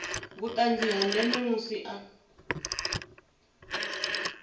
vhuṱanzi ha ndeme musi a